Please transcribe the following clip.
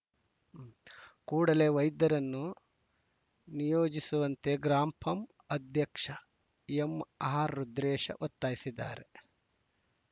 ಕೂಡಲೆ ವೈದ್ಯರನ್ನು ನಿಯೋಜಿಸುವಂತೆ ಗ್ರಾಂ ಪಂ ಅಧ್ಯಕ್ಷ ಎಂಆರ್‌ರುದ್ರೇಶ ಒತ್ತಾಯಿಸಿದ್ದಾರೆ